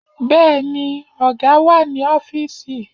Bẹ́ẹ̀ni, ọ̀gá wà ní ọfísì